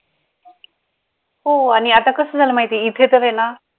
हो आणि आता कसं झालं माहिती आहे इथे तर आहे ना